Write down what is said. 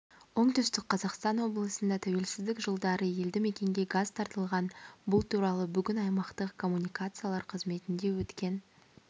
оңтүстік қазақстан облысында тәуелсіздік жылдары елді мекенге газ тартылған бұл туралы бүгін аймақтық коммуникациялар қызметінде өткен